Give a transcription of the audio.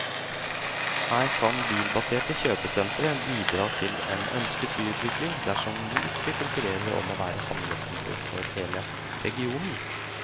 Her kan bilbaserte kjøpesentre bidra til en ønsket byutvikling dersom de ikke konkurrerer om å være handlesenter for hele regionen.